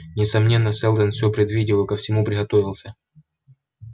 несомненно сэлдон все предвидел и ко всему приготовился